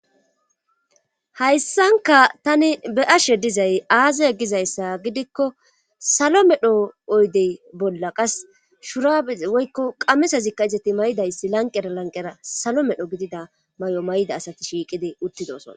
hayssanka tani be ashe dizay aaza e gizayssa gidikko salo medho oydey bolla qas shura woykko qamesazikka izati may'idayssi lanqera lanqera salo medho gidida may'o may'ida asati shiiqide uttidosona.